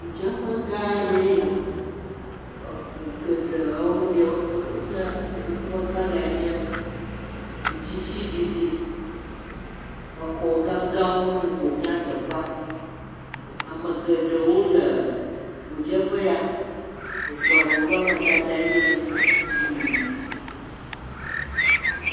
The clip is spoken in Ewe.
Ŋu dzeƒe gã aɖee nye ya, eŋu geɖewo nye, woƒe kɔla nye ŋutsisiɖiɖi. ezɔ gãgãwo le, ƒo xla teƒea. Eŋu geɖewo le ŋu dzeƒe ya. Eŋuawo ƒe amadede nye ʋi